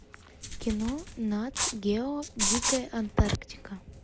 кино над гео дикая антарктика